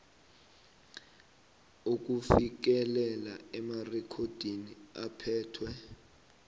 ukufikelela emarekhodini aphethwe